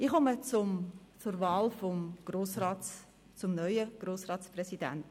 Ich komme zur Wahl des neuen Grossratspräsidenten.